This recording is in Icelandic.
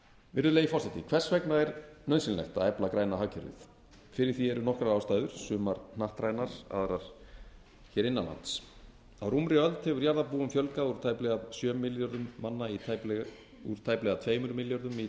virðulegi forseti hvers vegna er nauðsynlegt að efla græna hagkerfið fyrir því eru nokkrar ástæður sumar hnattrænar aðrar hér innan lands á rúmri öld hefur jarðarbúum fjölgað úr tæplega tveimur milljörðum í